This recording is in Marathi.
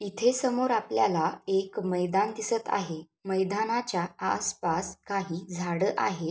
इथे समोर आपल्याला एक मैदान दिसत आहे मैदानाच्या आसपास काही झाड आहेत.